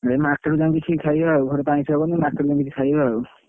ସେଇ market ରଯାଇକି ସେଇ ଖାଇବା ଆଉ ଘରେ ତ ଆଇଁଷ ହବନି market ରୁ ଯାଇକି ଖାଇବା ଆଉ।